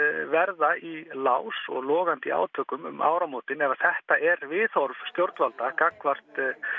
verða í lás og logandi í átökum um áramótin ef þetta er viðhorf stjórnvalda gagnvart